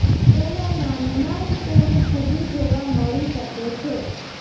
તેના નામમાં જ તેની ખૂબી જોવા મળી શકે છે